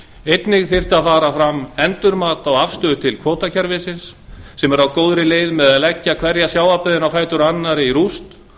einnig þyrfti að fara fram endurmat á afstöðu til kvótakerfisins sem er á góðri leið með að leggja hverja sjávarbyggðina á fætur annarri í rúst